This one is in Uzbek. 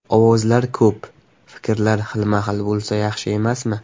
Ovozlar ko‘p, fikrlar xilma-xil bo‘lsa yaxshi emasmi?